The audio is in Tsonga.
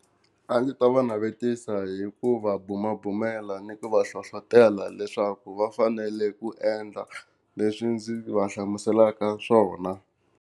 A ndzi ta va navetisa hi ku va bumabumela ni ku va hlohlotelo leswaku va fanele ku endla leswi ndzi va hlamuselaka swona.